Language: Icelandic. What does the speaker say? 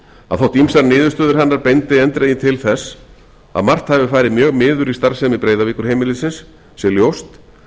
að þótt ýmsar niðurstöður hennar bendi eindregið til þess að margt hafi farið mjög miður í starfsemi breiðavíkurheimilisins sé ljóst